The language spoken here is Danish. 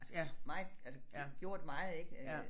Altså meget altså gjort meget ik øh